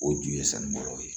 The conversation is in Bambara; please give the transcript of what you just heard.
O ju ye sani bɔlɔ ye